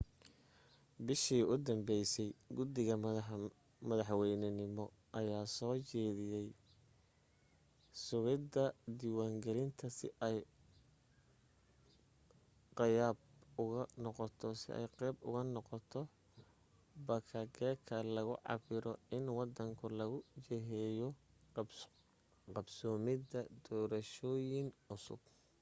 bishii u danbaysay guddida madaxweynenimo ayaa soo jeedisay sugidda diwaangalin si ay qayb uga noqoto bakageka lagu cabirayo in wadanku lagu jiheeyo qbsoomidda doorashooyin cusub